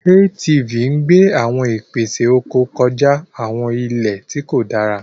ATV ń gbé àwọn ìpèsè oko kọjá àwọn ilẹ̀ tí kò dára.